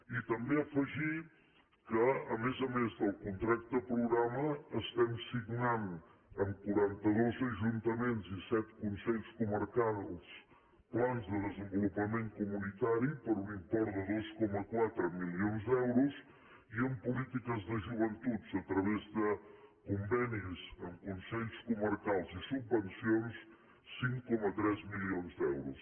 i també afegir que a més a més del contracte progra·ma estem signant amb quaranta·dos ajuntaments i set consells comarcals plans de desenvolupament comuni·tari per un import de dos coma quatre milions d’euros i en polítiques de joventut a través de convenis amb consells comar·cals i subvencions cinc coma tres milions d’euros